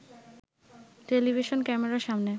television ক্যামেরার সামনে